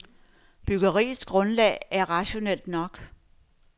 Byggeriets grundlag er rationelt nok.